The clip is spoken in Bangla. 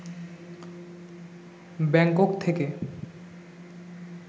ব্যাংকক থেকে